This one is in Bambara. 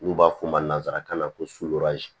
N'u b'a f'o ma nanzarakan na ko